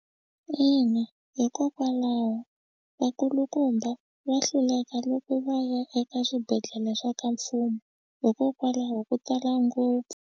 Ina, hikokwalaho vakulukumba va hluleka loko va ya eka swibedhlele swa ka mfumo hikokwalaho ko tala ngopfu.